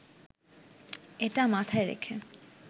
এটা মাথায় রেখে